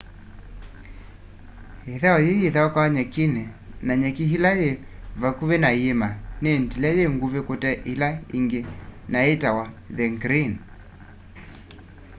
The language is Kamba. ithau yii yithaukiwa nyekini na nyeki ila yi vakũvi na yiima ni ndile yi ngũvi kute ila ingi na yitawa the green